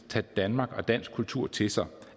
tage danmark og dansk kultur til sig